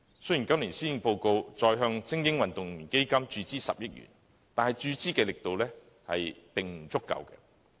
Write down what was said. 雖然今年施政報告提出再向"精英運動員發展基金"注資10億元，但注資的力度並不足夠。